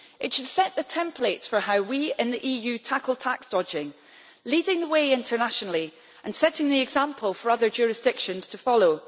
It should set the templates for how we in the EU tackle tax dodging, leading the way internationally, and setting the example for other jurisdictions to follow.